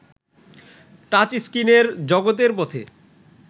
টাচস্ত্রিনের জগতের পথে